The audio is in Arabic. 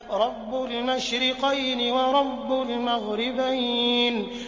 رَبُّ الْمَشْرِقَيْنِ وَرَبُّ الْمَغْرِبَيْنِ